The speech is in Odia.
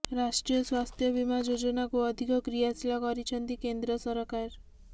ରାଷ୍ଟ୍ରୀୟ ସ୍ୱାସ୍ଥ୍ୟ ବୀମା ଯୋଜନାକୁ ଅଧିକ କ୍ରିୟାଶୀଳ କରିଛନ୍ତି କେନ୍ଦ୍ର ସରକାର